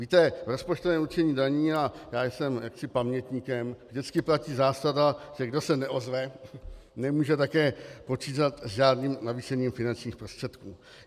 Víte, rozpočtové určení daní, a já jsem jaksi pamětníkem, vždycky platí zásada, že kdo se neozve, nemůže také počítat s žádným navýšením finančních prostředků.